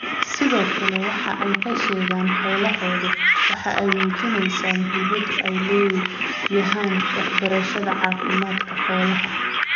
Sidoo kale, waxa ay ka sheegaan xoolahooda waxa ay muujinayaan muhiimadda ay leedahay waxbarashada caafimaadka xoolaha.